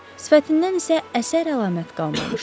Sifətindən isə əsər əlamət qalmamışdı.